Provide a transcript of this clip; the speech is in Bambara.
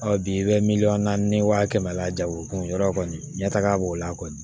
bi i bɛ miliyɔn naani ni wa kɛmɛ la jagokun yɔrɔ kɔni ɲɛ taga b'o la kɔni